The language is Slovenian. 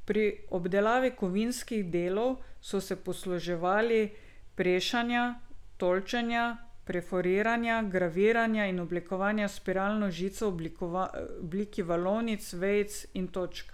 Pri obdelavi kovinskih delov so se posluževali prešanja, tolčenja, perforiranja, graviranja in oblikovanja s spiralno žico v obliki valovnic, vejic in točk.